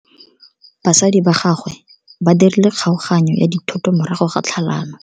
Batsadi ba gagwe ba dirile kgaoganyo ya dithoto morago ga tlhalano.